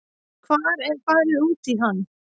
Hvar er farið út í hann?